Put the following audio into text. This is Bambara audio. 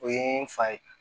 O ye n fa ye